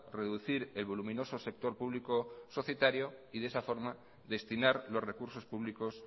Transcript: reducir el voluminoso sector público societario y de esa forma destinar los recursos públicos